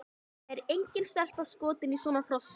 Það er engin stelpa skotin í svona hrossi!